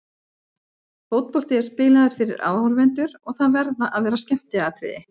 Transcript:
Fótbolti er spilaður fyrir áhorfendur og það verða að vera skemmtiatriði.